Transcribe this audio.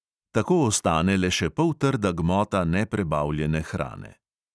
Tako ostane le še poltrda gmota neprebavljene hrane.